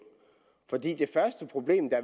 for det første problem der